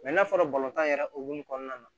n'a fɔra yɛrɛ hokumu kɔnɔna na